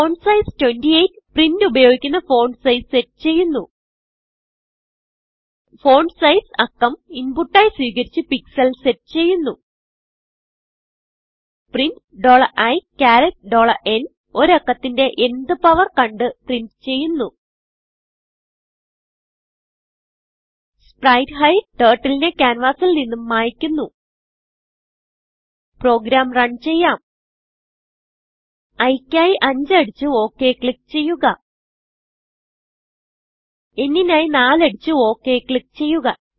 font size 28 print ഉപയോഗിക്കുന്ന font size set ചെയ്യുന്നു font size അക്കം inputആയി സ്വീകരിച്ച് പിക്സൽ സെറ്റ് ചെയ്യുന്നു പ്രിന്റ് iന്ഒരു അക്കത്തിന്റെ n ത് powerകണ്ട് പ്രിന്റ് ചെയ്യുന്നു spritehideടർട്ടിൽ നെ ക്യാൻവാസിൽ നിന്നും മായിക്കുന്നു പ്രോഗ്രാം runചെയ്യാം iക്കായി 5 അടിച്ച് okക്ലിക്ക് ചെയ്യുക nനായി 4അടിച്ച്okക്ലിക്ക് ചെയ്യുക